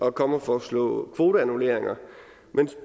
at komme og foreslå kvoteannulleringer men